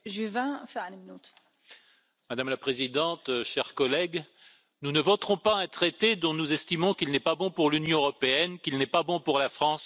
Madame la Présidente, chers collègues, nous ne voterons pas un traité dont nous estimons qu'il n'est pas bon pour l'Union européenne, qu'il n'est pas bon pour la France et qu'il n'est pas bon pour le Viêt Nam.